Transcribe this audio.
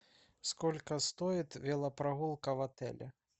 сколько стоит велопрогулка в отеле